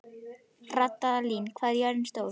Randalín, hvað er jörðin stór?